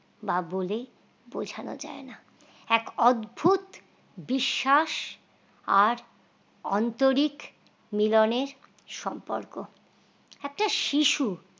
বা বলে বোঝানো যায় না, এক অদ্ভুত বিশ্বাস আর আন্তরিক মিলনের সম্পর্ক একটা শিশু